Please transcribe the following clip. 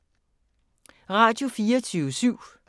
Radio24syv